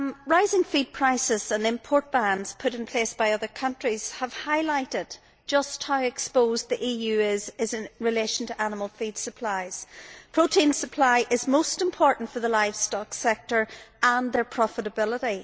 Rising feed prices and import bans put in place by other countries have highlighted just how exposed the EU is in relation to animal feed supplies. Protein supply is most important for the livestock sector and its profitability.